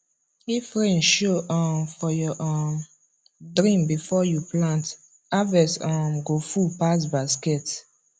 if rain show um for your um dream before you plant harvest um go full pass basket